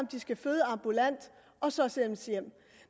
de skal føde ambulant og så sendes hjem